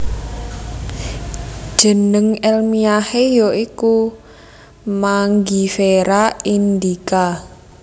Jeneng èlmiyahé ya iku Mangifera indica